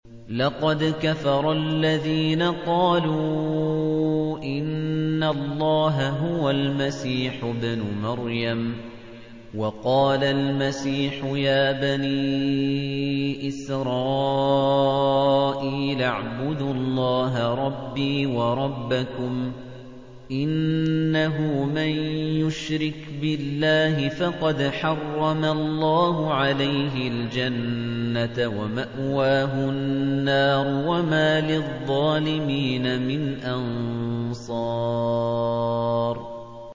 لَقَدْ كَفَرَ الَّذِينَ قَالُوا إِنَّ اللَّهَ هُوَ الْمَسِيحُ ابْنُ مَرْيَمَ ۖ وَقَالَ الْمَسِيحُ يَا بَنِي إِسْرَائِيلَ اعْبُدُوا اللَّهَ رَبِّي وَرَبَّكُمْ ۖ إِنَّهُ مَن يُشْرِكْ بِاللَّهِ فَقَدْ حَرَّمَ اللَّهُ عَلَيْهِ الْجَنَّةَ وَمَأْوَاهُ النَّارُ ۖ وَمَا لِلظَّالِمِينَ مِنْ أَنصَارٍ